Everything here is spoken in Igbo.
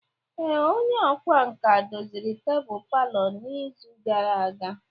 Ee, onye ọkwá nkà doziri tebụl palọ n'izu gara aga.